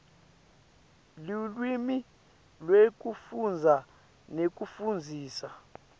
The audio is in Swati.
lulwimi lwekufundza nekufundzisa